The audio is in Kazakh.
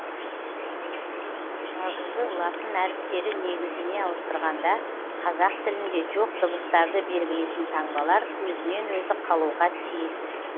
жазуды латын әріптері негізіне ауыстырғанда қазақ тілінде жоқ дыбыстарды белгілейтін таңбалар өзінен өзі қалуға тиіс